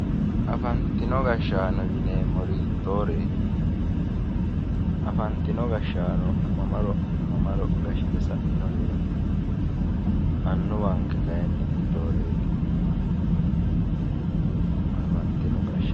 Afantino gashaanonna annuwa:-Afantino gashaano yineemmori hitooreetti afantino gashaano mamaro mamaro gashshite sa'inoreetti annuwanke kayiinni hitooreetti